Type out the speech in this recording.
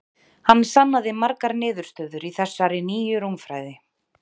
hann sannaði margar niðurstöður í þessari nýju rúmfræði